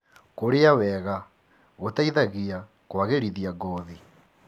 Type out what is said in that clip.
Kũrĩa wega gũteithagia kwagĩrithia ngothi.